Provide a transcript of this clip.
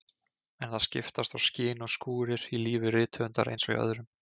En það skiptast á skin og skúrir í lífi rithöfundar eins og hjá öðrum.